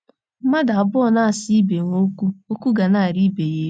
Mmadụ abụọ na - asa ibe ha okwu, okwu ga na - arị ibe ya elu.